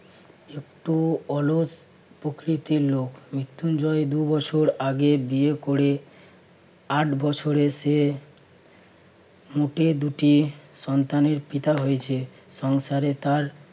তো অলস প্রকৃতির লোক। মৃত্যুঞ্জয় দু'বছর আগে বিয়ে করে আট বছরে সে মোটে দুটি সন্তানের পিতা হয়েছে। সংসারে তার